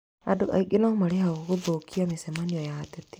Andũ angĩ nomarĩhagwo gũthũkia mĩcemanio ya ateti